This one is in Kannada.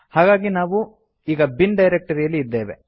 ಹಾಗಾಗಿ ನಾವು ಈಗ ಬಿನ್ ಡೈರೆಕ್ಟ್ ರಿ ಯಲ್ಲಿ ಇದ್ದೇವೆ